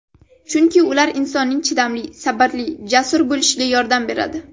Chunki ular insonning chidamli, sabrli, jasur bo‘lishiga yordam beradi.